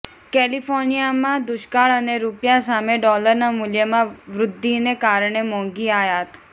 કેલિફોર્નિયામાં દુષ્કાળ અને રૂપિયા સામે ડોલરના મૂલ્યમાં વૃદ્ધિને કારણે મોંઘી આયાત